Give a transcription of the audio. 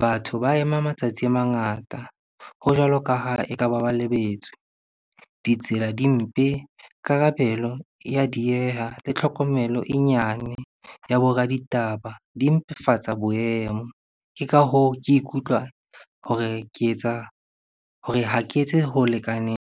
batho ba ema matsatsi a mangata, ho jwalo ka ha eka ba lebetswe. Ditsela di mpe, karabelo ya dieha le tlhokomelo e nyane ya bo raditaba di mpefatsa boemo. Ke ka hoo, ke ikutlwa hore ke etsa, hore ha ke etse ho lekaneng.